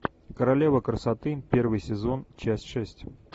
королева красоты первый сезон часть шесть